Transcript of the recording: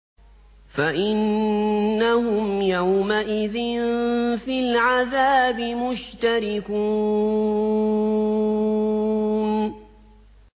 فَإِنَّهُمْ يَوْمَئِذٍ فِي الْعَذَابِ مُشْتَرِكُونَ